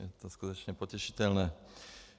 Je to skutečně potěšitelné.